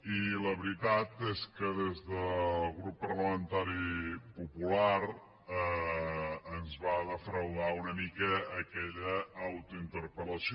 i la veritat és que des del grup parlamentari popular ens va defraudar una mica aquella autointerpellació